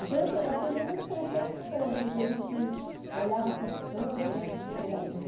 Então, eu aprendi muito francês com ele, porque a gente olhava assim os campos né antes de chegar no